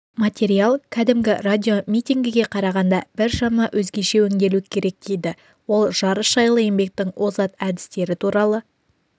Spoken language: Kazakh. материал кәдімгі радиомитингіге қарағанда біршама өзгеше өнделу керек дейді ол жарыс жайлы еңбектің озат әдістері туралы